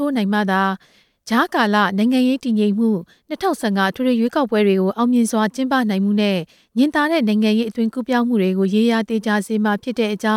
ို စတင်နိုင်မှသာလျှင် နိုင်ငံရေးတည်ငြိမ်မှု၊ ၂ဝ၁၅ အထွေထွေရွေးကောက်ပွဲများ အောင်မြင်စွာ ကျင်းပနိုင်မှုနဲ့ ညင်သာတဲ့ နိုင်ငံရေး အသွင်ကူးပြောင်းမှုများကို ရေရာသေချာစေမှာ ဖြစ်တဲ့အကြော